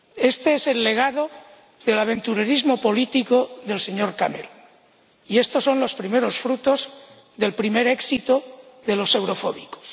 Este es el legado del aventurerismo político del señor Cameron y estos son los primeros frutos del primer éxito de los eurofóbicos.